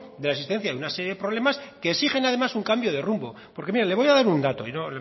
de una serie de problemas que exigen además un cambio de rumbo porque mire le voy a dar un dato y le estoy